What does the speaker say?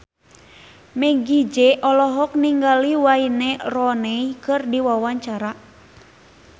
Meggie Z olohok ningali Wayne Rooney keur diwawancara